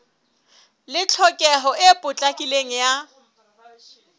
le tlhokeho e potlakileng ya